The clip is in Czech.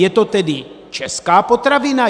Je to tedy česká potravina?